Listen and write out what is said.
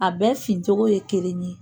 A bɛɛ fin cogo ye kelen ye